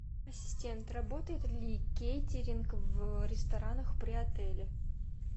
ассистент работает ли кейтеринг в ресторанах при отеле